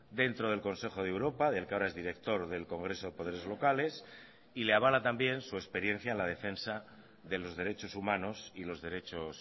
dentro del consejo de europa del que ahora es director del congreso de poderes locales y le avala también su experiencia en la defensa de los derechos humanos y los derechos